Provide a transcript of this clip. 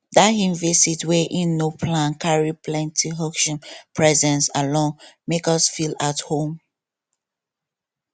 dat him vist wey him no plan carry plenty hugshim presence alone make us feel at home